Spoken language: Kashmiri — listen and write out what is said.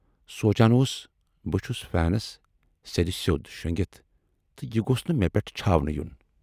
سونچان اوس بہٕ چھُس فینس سیدِسیود شونگِتھ تہٕ یہِ گوژھ نہٕ مے پٮ۪ٹھ چھاونہٕ یُن